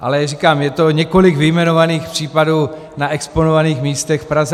Ale říkám, je to několik vyjmenovaných případů na exponovaných místech v Praze.